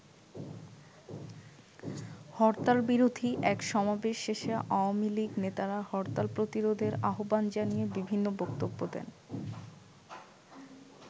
হরতাল বিরোধী এক সমাবেশ শেষে আওয়ামী লীগ নেতারা হরতাল প্রতিরোধের আহ্বান জানিয়ে বিভিন্ন বক্তব্য দেন।